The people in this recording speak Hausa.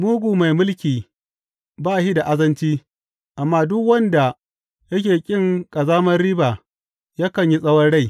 Mugu mai mulki ba shi da azanci, amma duk wanda yake ƙin ƙazamar riba yakan yi tsawon rai.